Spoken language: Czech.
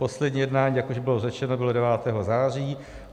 Poslední jednání, jak už bylo řečeno, bylo 9. září.